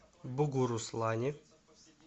бугуруслане